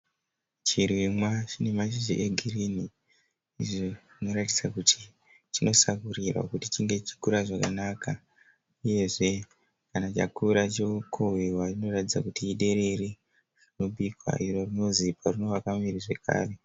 Chirimwa chine mashizha egirini izvo zvinoratidza kuti chinosakurirwa kuti chinge chichikura zvakanaka uyezve kana chakura chokohwiwa chinoratidza kuti iderere rinobikwa iro rinozipa riinovaka muviri zvakare.